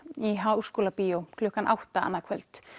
í Háskólabíó klukkan átta annað kvöld